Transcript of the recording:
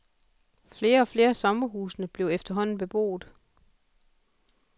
Flere og flere af sommerhusene blev efterhånden beboet.